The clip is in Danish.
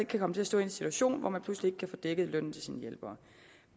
kan komme til at stå i en situation hvor man pludselig ikke kan få dækket lønnen til sine hjælpere